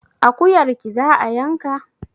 Akuyarki za a yanka?